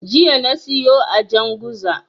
Jiya na siyo a Janguza.